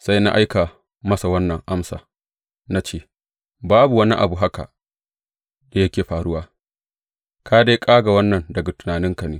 Sai na aika masa wannan amsa, na ce, Babu wani abu haka da yake faruwa; ka dai ƙaga wannan daga tunaninka ne.